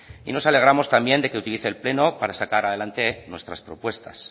y nos alegramos también de que utilice el pleno para sacar adelante nuestras propuestas